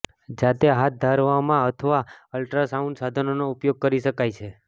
જાતે હાથ ધરવામાં અથવા અલ્ટ્રાસાઉન્ડ સાધનોનો ઉપયોગ કરી શકાય છે